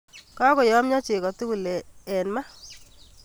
Kakoyomyo cheko tugul eng ma